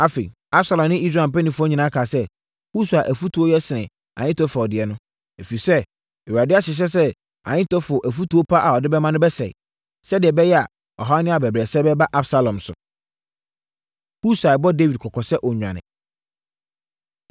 Afei, Absalom ne Israel mpanimfoɔ nyinaa kaa sɛ, “Husai afotuo no yɛ sene Ahitofel deɛ no.” Ɛfiri sɛ, Awurade ahyehyɛ sɛ Ahitofel afotuo pa a ɔde ama no bɛsɛe, sɛdeɛ ɛbɛyɛ a, ɔhaw ne abɛbrɛsɛ bɛba Absalom so. Husai Bɔ Dawid Kɔkɔ Sɛ Ɔnnwane